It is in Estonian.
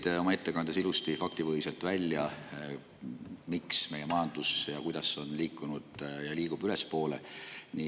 Tõite oma ettekandes ilusti faktipõhiselt välja, miks ja kuidas meie majandus on liikunud ja liigub ülespoole.